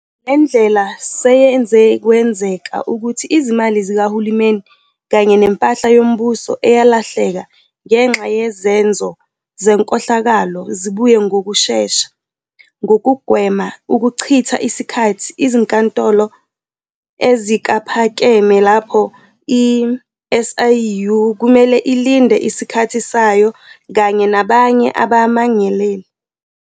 Le ndlela seyenze kwenzeka ukuthi izimali zikahulumeni kanye nempahla yombuso eyalahleka ngenxa yezenzo zenkohlakalo zibuye ngokushesha, ngokugwema ukuchitha isikhathi ezinkantolo eziphakeme, lapho i-SIU kumele ilinde isikhathi sayo kanye nabanye abamangaleli.